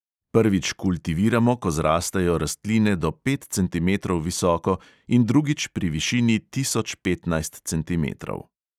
Prvič kultiviramo, ko zrastejo rastline do pet cenimetrov visoko, in drugič pri višini tisoč petnajst centimetrov.